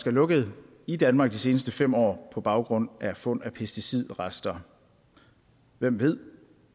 er lukket i danmark de seneste fem år på baggrund af fund af pesticidrester hvem ved